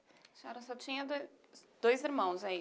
A senhora só tinha do dois irmãos aí?